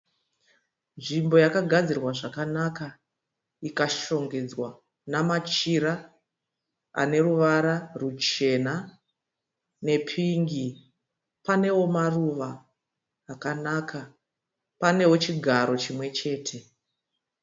Nzvimbo yakagadzirwa zvakanaka ikashongedzwa namachira ane ruvara ruchena nepingi. Panewo maruva akanaka. Panewo chigaro chimwe chete.